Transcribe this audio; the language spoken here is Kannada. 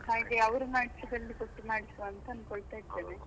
ಹಾಗೆ ಅವರು ಮಾಡಿಸಿದ್ದಲ್ಲಿ ಕೊಟ್ಟು ಮಾಡಿಸುವ ಅಂತ ಅನ್ಕೊಳ್ತಾ .